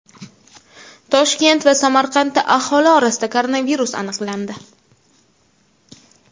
Toshkent va Samarqandda aholi orasida koronavirus aniqlandi.